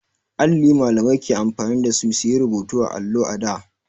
Alli Mallamai ke amfani da shi su yi rubutu a allo a da.